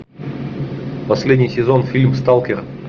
последний сезон фильм сталкер